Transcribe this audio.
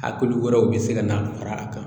A kulu wɛrɛw bɛ se ka na fara a kan